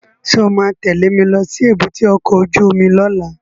Sọ ma tẹ́lẹ̀ mi lọ sí èbúté ọkọ̀ óju omi lọ́la?